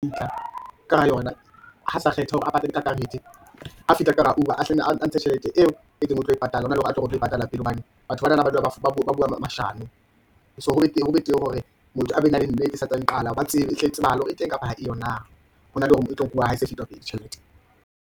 Ntlha ka hara yona, ha sa kgetha hore a patale ka karete, a fihla ka hara Uber a hlenne a ntshe tjhelete eo a itseng o tlo e patala, hona le hore a tlo re o tla e patala pele, hobane batho banana ba dula ba bua mashano . So ho betere hore motho a be na le nnete e santsane e qala, ba tsebe, ehle e tsebahale hore e teng, kapa ha e yo na, hona le hore e tlo nkuwa ha e se tjhelete.